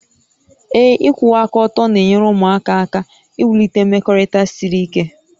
Ee. ịkwụwa aka ọtọ na-enyere ụmụaka aka iwulite mmekọrịta siri ike